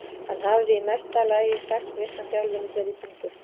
Hann hafði í mesta lagi sex vikna þjálfun í þeirri tungu.